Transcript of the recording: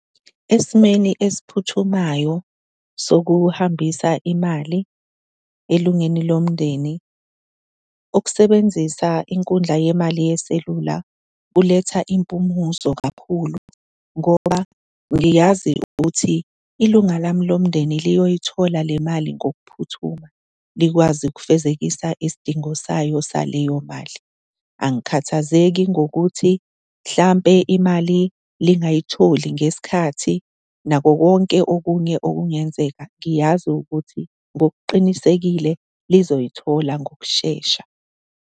Esimeni esiphuthumayo sokuhambisa imali elungini lomndeni, ukusebenzisa inkundla yemali yeselula kuletha impumuzo kakhulu ngoba ngiyazi ukuthi ilunga lami lomndeni liyoyithola le mali ngokuphuthuma, likwazi ukufezekisa isidingo sayo saleyo mali. Angikhathazeki ngokuthi mhlampe imali lingayitholi ngesikhathi, nakho konke okunye okungenzeka. Ngiyazi ukuthi ngokuqinisekile lizoyithola ngokushesha.